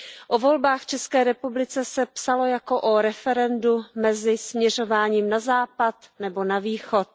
O volbách v České republice se psalo jako o referendu mezi směřováním na západ nebo na východ.